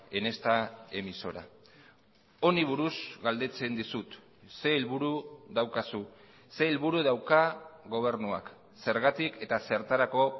en esta emisora honi buruz galdetzen dizut ze helburu daukazu ze helburu dauka gobernuak zergatik eta zertarako